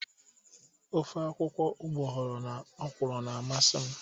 Ofe akwụkwọ ugboghọrọ na ọkwụrụ na amasị m.